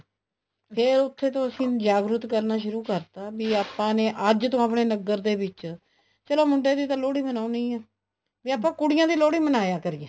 ਫ਼ੇਰ ਉੱਥੇ ਤੋਂ ਅਸੀਂ ਜਾਗਰੂਕ ਕਰਨ ਸ਼ੁਰੂ ਕਰ ਦਿੱਤਾ ਵੀ ਆਪਾਂ ਨੇ ਅੱਜ ਤੋਂ ਆਪਣੇ ਨਗਰ ਦੇ ਵਿੱਚ ਚਲੋ ਮੁੰਡੇ ਦੀ ਤਾਂ ਲੋਹੜੀ ਮਨਾਉਣੀ ਓ ਆ ਵੀ ਆਪਾਂ ਕੁੜੀਆਂ ਦੀ ਲੋਹੜੀ ਮਨਾਇਆ ਕਰੀਏ